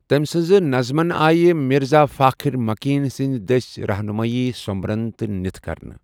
تمہِ سٕنزٕ نظمن آیہ مِرزا فاخرمكین سندِ دٔسۍ رہنُمٲیی ، سومبرن تہٕ نٕتھہِ كرنہٕ ۔